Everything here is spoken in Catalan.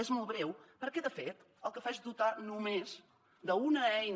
és molt breu perquè de fet el que fa és dotar només d’una eina